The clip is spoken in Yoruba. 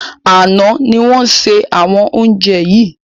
Àná ni a ṣe àwọn oúnjẹ yìí